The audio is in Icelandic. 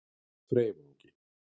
Freyvangi